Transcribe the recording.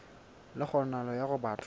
le kgonahalo ya hore batho